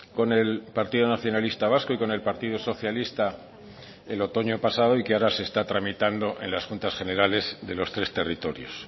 con el partido nacionalista vasco y con el partido socialista el otoño pasado y que ahora se está tramitando en las juntas generales de los tres territorios